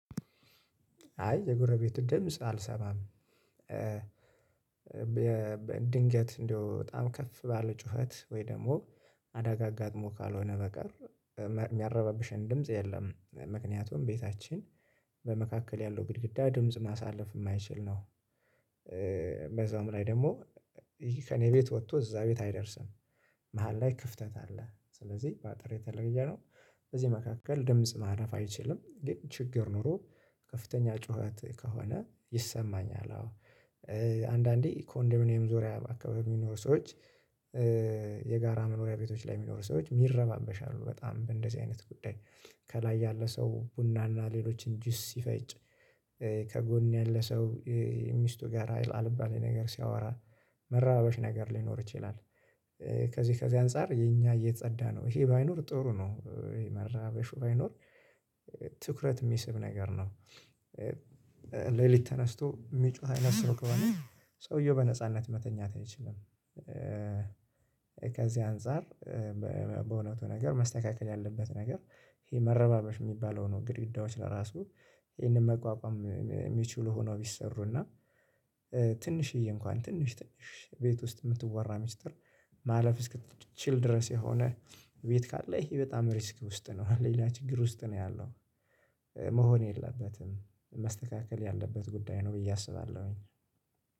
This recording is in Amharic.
አይ የጎረቤት ድምጽ አልሰማም። ድንገት እንደው በጣም ከፍ ባለ ጩኸት ወይ ደግሞ አዳጋ አጋጥሞ ካልሆነ በቀር የሚያረባብሽን ድምጽ የለም። ምክንያቱም ቤታችን በመካከል ያለው ግድግዳ ድምጽ ማሳለፍ የማይችል ነው። በዛውም ላይ ደግሞ ከእኔ ቤት ወጥቶ እዛ ቤት አይደርስም። መሃል ላይ ክፍተት አለ ስለዚህ በአጥር የተለየ ነው በዚህ መካከል ድምጽ ማለፍ አይችልም። ግን ችግር ኖሮ ከፍተኛ ጩኸት ከሆነ ይሰማኛል። አዎ አንዳንዴ ኮንዶሚኒየም ዙሪያ አካባቢ የሚኖሩ ሰዎች የጋራ መኖሪያ ቤቶች ላይ የሚኖሩ ሰዎች ይረባበሻሉ በጣም እንደዚህ አይነት ጉዳይ። ከላይ ያለ ሰው ቡና እና ሌሎችን ጅስ ሲፈጭ ከጎን ያለ ሰው ሚስቱ ጋር አልባሌ ነገር ሲያወራ መረባበሽ ነገር ሊኖር ይችላል። ከዚህ ከዚህ አንፃር የኛ የጸዳ ነው ይሄ ባይኖር ጥሩ ነው። መራበሹ ባይኖር ትኩረት የሚስብ ነገር ነው። ሌሊት ተነስቶ የሚጮህ አይነት ሰው ከሆነ ሰውየው በነጻነት መተኛት አይችልም። ከዚህ አንፃር በእውነቱ ነገር መስተካከል ያለበት ነገር ይሄ መረባበሽ የሚባለው ነው። ግድግዳዎች ለራሱ ይሄንን መቋቋም የሚችሉ ሆነው ቢሰሩና ትንሽዬ እንኳን ትንሽ ትንሽ ቤት ውስጥ የምትወራ ሚስጥር ማለፍ እስክትችል ድረስ የሆነ ቤት ካለ ይሄ በጣም ሪስክ ውስጥ ነው። ሌላ ችግር ውስጥ ነው ያለው መሆን የለበትም መስተካከል ያለበት ጉዳይ ነው። ብዬ አስባለሁኝ።